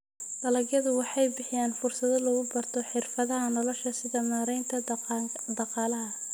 Dalagyadu waxay bixiyaan fursado lagu barto xirfadaha nolosha sida maaraynta dhaqaalaha.